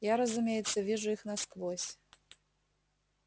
я разумеется вижу их насквозь